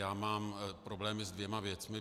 Já mám problém se dvěma věcmi.